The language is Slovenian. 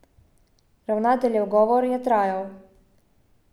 Ravnateljev govor je trajal.